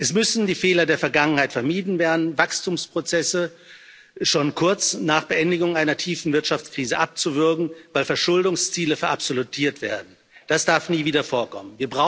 Es müssen die Fehler der Vergangenheit vermieden werden, Wachstumsprozesse schon kurz nach Beendigung einer tiefen Wirtschaftskrise abzuwürgen, weil Verschuldungsziele verabsolutiert werden das darf nie wieder vorkommen.